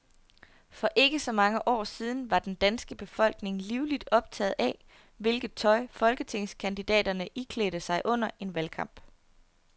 For ikke så mange år siden var den danske befolkning livligt optaget af, hvilket tøj folketingskandidaterne iklædte sig under en valgkamp.